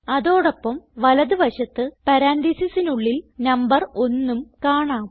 അതോടൊപ്പം വലത് വശത്ത് പരാൻതീസിസിനുള്ളിൽ നമ്പർ ഒന്നും കാണാം